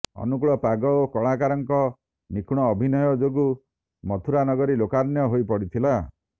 ଅନୁକୁଳ ପାଗ ଓ କଳାକାରଙ୍କ ନିଖୁଣ ଅଭିନୟ ଯୋଗୁ ମଥୁରାନଗରୀ ଲୋକାରଣ୍ୟ ହୋଇ ପଡ଼ିଥିଲା